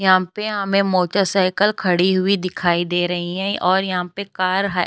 यहां पे हमें साइकिल खड़ी हुई दिखाई दे रही हैं और यहाॅं पे कार --